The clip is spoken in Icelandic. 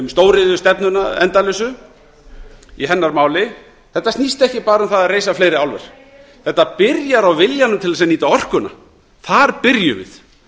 stóriðjustefnuna endalausu í hennar máli þetta snýst ekki bara um það að reisa fleiri álver þetta byrjar á viljanum til að nýta orkuna þar byrjum við